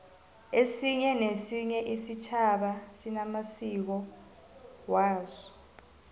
esinye nesinye isitjhaba sinamasiko aso